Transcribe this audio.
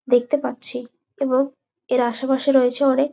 দেখতে পাচ্ছি এবং এর আশেপাশে রয়েছে অনেক--